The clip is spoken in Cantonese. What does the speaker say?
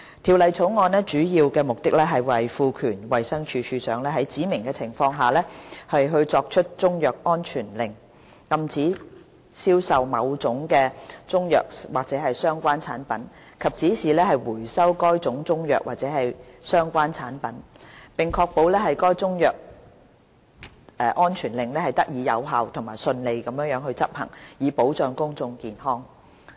《條例草案》的主要目的，在於賦權衞生署署長在指明的情況下作出中藥安全令，禁止銷售某種中藥或相關產品，以及指示回收該種中藥或相關產品，並確保該中藥安全令得以有效和順利執行，以保障公眾健康。